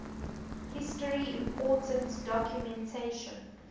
history important documentation